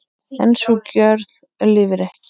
En sú gjörð lifir ekki.